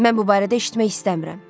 Mən bu barədə eşitmək istəmirəm.